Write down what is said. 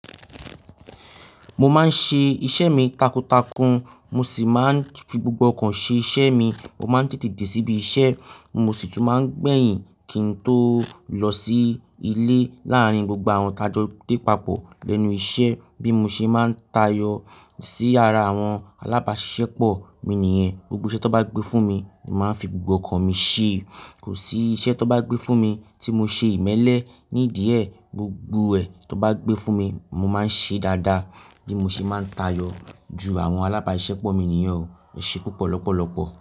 Mo máa ń ṣe iṣẹ́ mi takuntakun, mo sì máa ń fi gbogbo ọkàn ṣe iṣẹ́ mi. Mo máa ń tètè dé síbi iṣẹ́, mo sì tún máa ń gbẹ̀yìn kí n tó lọ sí ilé. Lárin gbogbo àwọn tajọ dé papọ̀ lẹ́nu iṣẹ́ bí mo ṣe máa ń tayọ sí ara àwọn alábáṣiṣẹ́ pọ̀, mi nìyẹn. Gbogbo iṣẹ́ tó bá gbé fún mi, màá fi gbogbo ọkàn mi ṣe. Kò sí iṣẹ́ tó bá gbé fún mi tí mo ṣe ìmẹ́lẹ́ ní ìdíẹ̀. Gbogbo ẹ̀ tán bá gbé fún mi, mo máa ń ṣe dáadáa bí mo ṣe máa ń tayọ ju àwọn alábáṣiṣẹ́ pọ̀ mi nìyẹn o. Ẹṣẹ́ púpọ̀ lọ́pọ̀lọpọ̀.